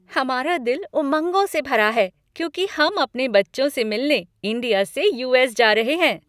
हमारा दिल उमंगों से भरा है क्योंकि हम अपने बच्चों से मिलने इंडिया से यू.एस. जा रहे हैं।